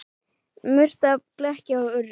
Murta og bleikja og urriði